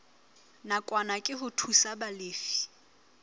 nakwana ke ho thusa balefi